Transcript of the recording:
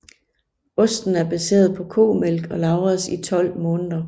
Osten er baseret på komælk og lagres i 12 måneder